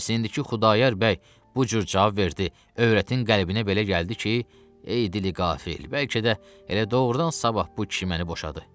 Bəs indiki Xudayar bəy bu cür cavab verdi, övrətin qəlbinə belə gəldi ki, ey dili qafil, bəlkə də elə doğrudan sabah bu kişi məni boşadı.